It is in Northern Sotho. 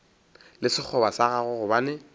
le sekgoba sa gagwe gobane